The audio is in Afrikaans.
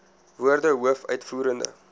woorde hoof uitvoerende